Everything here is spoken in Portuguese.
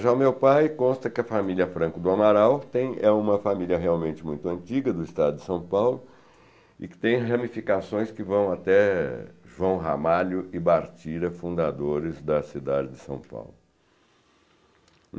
Já o meu pai, consta que a família Franco do Amaral tem é uma família realmente muito antiga do estado de São Paulo e que tem ramificações que vão até João Ramalho e Bartira, fundadores da cidade de São Paulo.